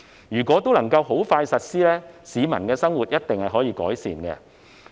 如果能很快便實施有關政策措施，市民的生活一定可以改善。